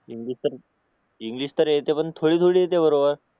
English तर येते पण थोडी थोडी येते बरोबर